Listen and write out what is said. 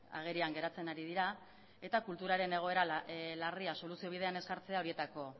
agerian geratzen ari dira eta kulturaren egoeralarria soluzio bidean ez jartzea horietako